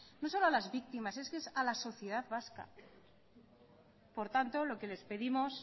no solo a las víctimas es que es a la sociedad vasca por tanto lo que les pedimos